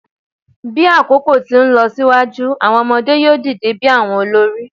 Bi akoko ti nlọsiwaju, awọn ọmọde yoo dide bi awọn olori